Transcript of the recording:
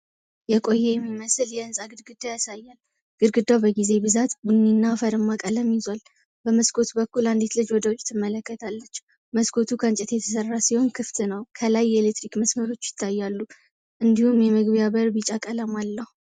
የቆየ የሚመስል የህንጻ ግድግዳ ያሳያል። ግድግዳው በጊዜ ብዛት ቡኒና አፈርማ ቀለም ይዟል። በመስኮት በኩል አንዲት ልጅ ወደ ውጭ ትመለከታለች። መስኮቱ ከእንጨት የተሰራ ሲሆን ክፍት ነው። ከላይ የኤሌክትሪክ መስመሮች ይታያሉ፤ እንዲሁም የመግቢያ በር ቢጫ ቀለም አለው።